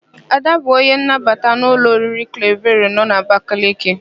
Ada bụ onye nnabata n'ụlọ oriri Klevero nọ n'Abakaliki.